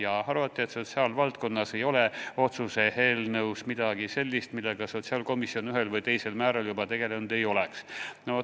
Avaldati arvamust, et mis puutub sotsiaalvaldkonda, siis ei ole otsuse eelnõus midagi sellist, millega sotsiaalkomisjon ühel või teisel määral juba tegelenud ei oleks.